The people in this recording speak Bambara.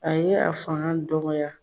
A ye a fanga dɔgɔya.